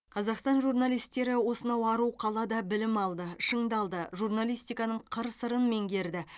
қазақстан журналистері осынау ару қалада білім алды шыңдалды журналистиканың қыр сырын меңгерді